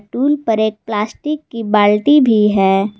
Tool पर एक plastic की बाल्टी भी है।